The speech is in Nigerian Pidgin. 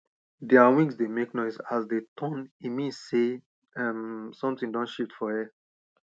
their wings dey make noise as dey turn e mean sey um something don shift for air